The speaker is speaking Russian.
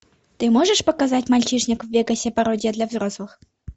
ты можешь показать мальчишник в вегасе пародия для взрослых